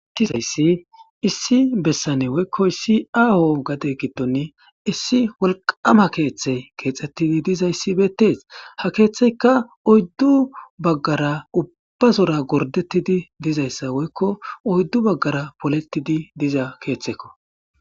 issi bessane woykko issi aao gade giddoni issi wolqama keeththe keexxettidi dizayssi beettees ha keeththeykka oyddu baggara ubbazora gordettidi dizayssa woykko oyddu baggara polettidi diza keeththekko